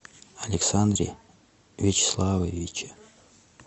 александре вячеславовиче